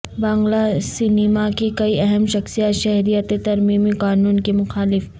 بنگلہ cinema کی کئی اہم شخصیات شہریت ترمیمی قانون کی مخالف